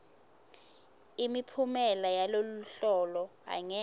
imiphumela yaloluhlolo angeke